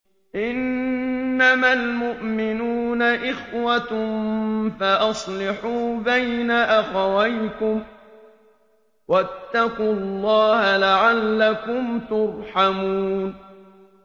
إِنَّمَا الْمُؤْمِنُونَ إِخْوَةٌ فَأَصْلِحُوا بَيْنَ أَخَوَيْكُمْ ۚ وَاتَّقُوا اللَّهَ لَعَلَّكُمْ تُرْحَمُونَ